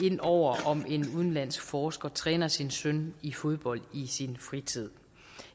ind over om en udenlandsk forsker træner sin søn i fodbold i sin fritid